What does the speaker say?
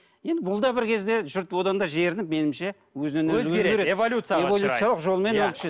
енді бұл да бір кезде жұрт одан да жерініп меніңше өзінен өзі өзгереді